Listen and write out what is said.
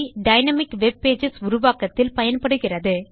dynamic web pages உருவாக்கத்தில் பயன்படுகிறது